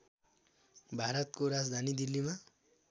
भारतको राजधानी दिल्लीमा